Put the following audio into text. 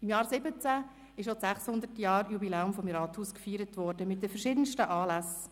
Im Jahr 2017 wurde mit verschiedensten Anlässen das 600-Jahr-Jubiläum des Rathauses gefeiert.